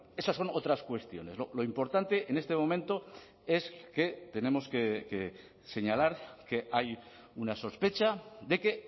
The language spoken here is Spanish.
esas son otras cuestiones lo importante en este momento es que tenemos que señalar que hay una sospecha de que